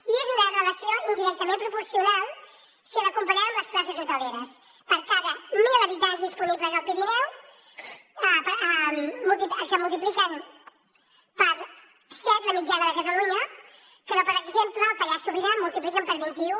i és una relació indirectament proporcional si la comparem amb les places hoteleres per cada mil habitants disponibles al pirineu que multipliquen per set la mitjana de catalunya que no per exemple al pallars sobirà que multipliquen per vint i u